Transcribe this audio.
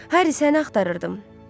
Harry, səni axtarırdım.